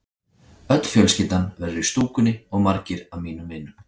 Öll fjölskyldan verður í stúkunni og margir af mínum vinum.